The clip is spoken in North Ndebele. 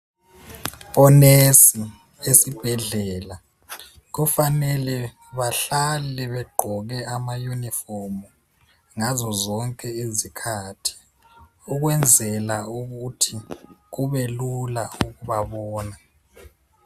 Onesi ezibhedlela kufanele bahlale begqoke amaunifomu ngazo zonke izikhathi ukwenzela ukuthi kubelula ukubabona.